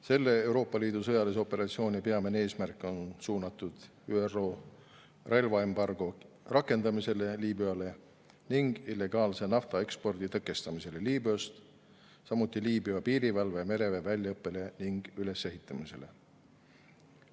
Selle Euroopa Liidu sõjalise operatsiooni peamine eesmärk on suunatud ÜRO Liibüale relvaembargo rakendamisele ning Liibüast toimuva illegaalse naftaekspordi tõkestamisele, samuti Liibüa piirivalve ja mereväe väljaõppele ning ülesehitamisele.